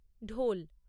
ঢোল